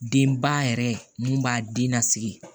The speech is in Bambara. Denba yɛrɛ mun b'a den nasigi